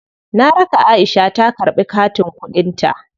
Na raka Aisha ta karɓi katin kuɗin ta.